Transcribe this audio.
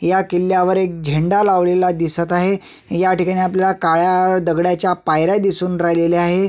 ह्या किल्ल्यावर एक झेंडा लावलेला दिसत आहे ह्या ठिकाणी काळ्या दगडाच्या पायऱ्या दिसून राहिलेल्या आहेत.